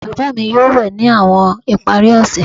Baba mi yoo we ni awọn ipari ose